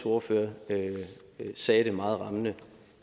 ordfører sagde det meget rammende